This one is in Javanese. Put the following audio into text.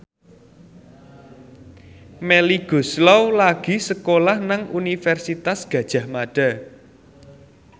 Melly Goeslaw lagi sekolah nang Universitas Gadjah Mada